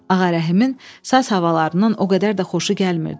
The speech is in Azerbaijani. Ağarəhimin saz havalarından o qədər də xoşu gəlmirdi.